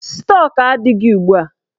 Stọk adịghị ugbua.